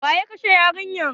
Waye ya kashe yarinyar?